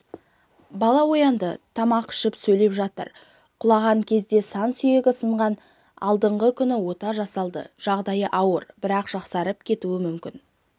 бала оянды тамақ ішіп сөйлеп жатыр құлаған кезде сан сүйегі сынған алдыңғы күні ота жасалды жағдайы ауыр бірақ жақсарып кетуі мүмкін